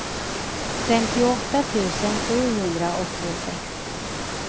femtioåtta tusen sjuhundraåttiosex